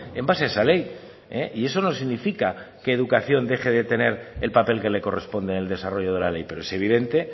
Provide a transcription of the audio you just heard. en base a esa ley y eso no significa que educación deje de tener el papel que le corresponde en el desarrollo de la ley pero es evidente